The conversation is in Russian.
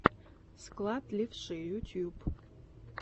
склад левши ютюб